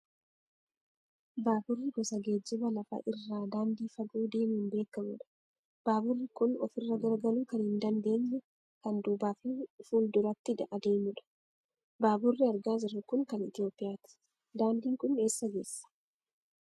Baaburri gosa geejjiba lafa irraa daandii fagoo deemuun beekamu dha. Baaburri kun ofirra galagaluu kan hin dandeenye, kan duubaaf fi fuulduratti adeemudha. Baaburri argaa jirru kun kan Itoophiyaati. Daandiin kun eessa geessa?